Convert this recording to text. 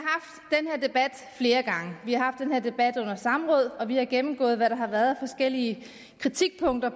debat flere gange vi har den her debat under samråd og vi har gennemgået hvad der har været forskellige kritikpunkter